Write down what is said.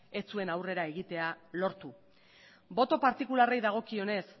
ez zuen aurrera egitea lortu boto partikularrei dagokionez